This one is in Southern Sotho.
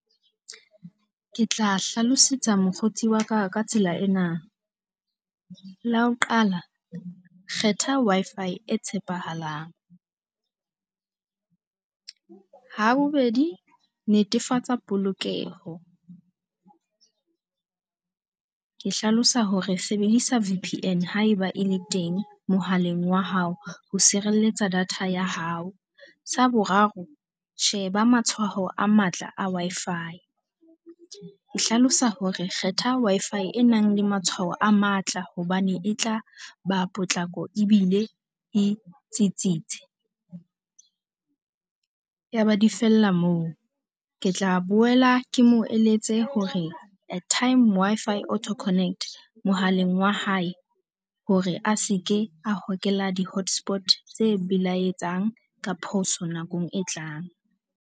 Ke tla hlalosetsa mokgotsi wa ka ho ya ka tsela ena. La ho qala, kgetha Wi-Fi e tshepahalang. Ha bobedi, netefatsa polokeho. Ke hlalosa hore sebedisa V_P_N haeba e le teng mohaleng wa hao ho sireletsa data ya hao. Sa boraro, sheba matshwao a matla a Wi-Fi. Ke hlalosa hore kgetha Wi-Fi e nang le matshwao a matla hobane e tla ba potlako ebile e tsitsitse. Yaba di fella moo. Ke tla boela ke mo eletse hore at time Wi-Fi Auto Connect mohaleng wa hae hore a se ke a hokela di-hotspot tse belaetsang ka phoso nakong e tlang.